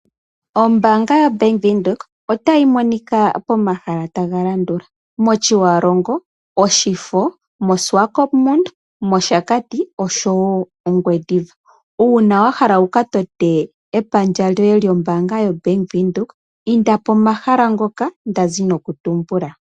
Ombanga yaBank Windhoek ota yi monika pomahala taga landula: mOtjiwarongo, Oshifo, moSwakopmund, mOshakati osho wo mOngwediva. Una wa hala wu ka tote epandja lyoye lyombanga yaBank Windhoek inda pomahala ngoka nda zi mokutumbula.